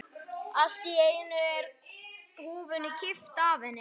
Allt í einu er húfunni kippt af henni!